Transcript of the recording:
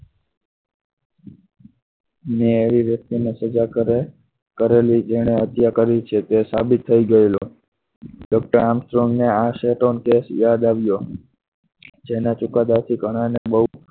ને એ વ્યક્તિને સજા કરેલી જેણે હત્યા કરેલી તે સાબિત થઈ ગયું આમસ્ટ્રોંગ ને આ કેસ યાદ આવ્યું જેના ચુકાદા થી ઘણાને